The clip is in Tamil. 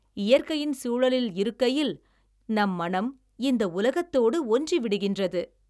இயற்கையின் சூழலில் இருக்கையில் நம் மனம் இந்த உலகத்தோடு ஒன்றிவிடுகின்றது.